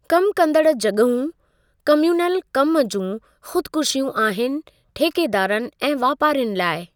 कम कंदड़ु जॻहूं कम़्यूनल कमु जूं खुदकुशीयूं आहिनि ठेकेदारनि ऐं वापारियुनि लाइ।